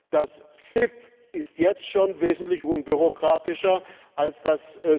Das CIP ist jetzt schon wesentlich unbürokratischer als das